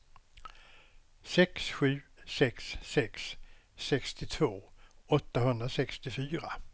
sex sju sex sex sextiotvå åttahundrasextiofyra